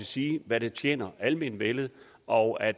sige hvad der tjener almenvellet og at